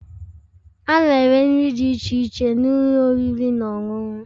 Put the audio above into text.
A na-ere nri dị iche iche n'ụlọ oriri na ọṅụṅụ